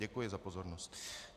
Děkuji za pozornost.